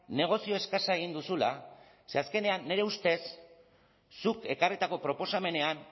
negozio eskasa egin duzula ze azkenean nire ustez zuk ekarritako proposamenean